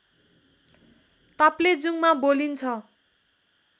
ताप्लेजुङमा बोलिन्छ